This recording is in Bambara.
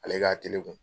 Ale k'a tele kun